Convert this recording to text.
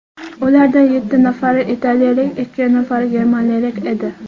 Ulardan yetti nafari italiyalik, ikki nafari germaniyalik edi.